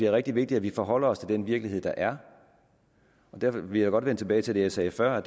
rigtig vigtigt at vi forholder os til den virkelighed der er og derfor vil jeg godt vende tilbage til det jeg sagde før